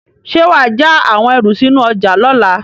Ṣé wà á ja àwọn ẹrù sínú ọjà lọ́la?